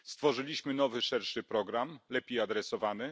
Stworzyliśmy nowy szerszy program, lepiej adresowany.